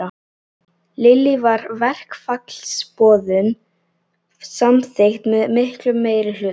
Lillý, var verkfallsboðun samþykkt með miklum meirihluta?